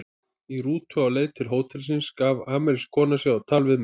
Í rútu á leið til hótelsins gaf amerísk kona sig á tal við mig.